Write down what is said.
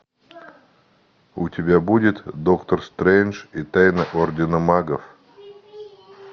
у тебя будет доктор стрэндж и тайна ордена магов